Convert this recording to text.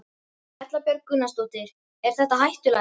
Erla Björg Gunnarsdóttir: Er þetta hættulegt?